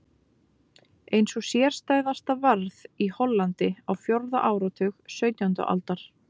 Ein sú sérstæðasta varð í Hollandi á fjórða áratug sautjándu aldar.